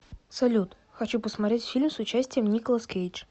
салют хочу просмотреть фильм с участием николас кейдж